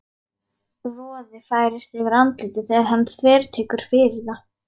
Roði færist yfir andlitið þegar hann þvertekur fyrir það.